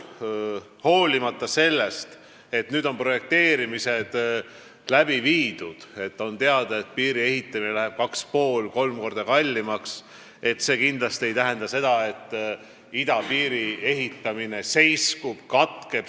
Hoolimata sellest teabest, et projekteerimisandmete põhjal läheb piiri ehitamine 2,5–3 korda kallimaks, ei tähenda see kindlasti seda, et idapiiri ehitamine seiskub, katkeb.